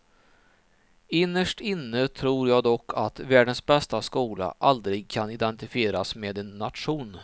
Innerst inne tror jag dock att världens bästa skola aldrig kan identifieras med en nation.